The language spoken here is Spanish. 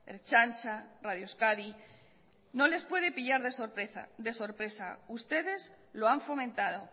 ertzaintza radio euskadi no les puede pillar de sorpresa ustedes lo han fomentado